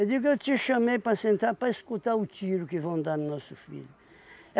digo, eu te chamei para sentar para escutar o tiro que vão dar no nosso filho.